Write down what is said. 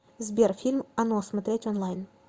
сбер фильм оно смотреть онлайн